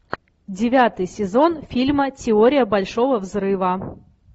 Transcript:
девятый сезон фильма теория большого взрыва